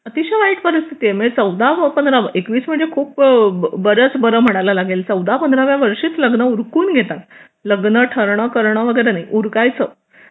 अतिशय वाईट परिस्थिती म्हणजेच चौदाव पंधराव व चौदाव म्हणजे खूप बरच बरं म्हणायला लागेल चौदा पंधरा व्या वर्षीच लग्न उरकून घेतात लग्न ठरलं करणं वगैरे नाही उरकायचं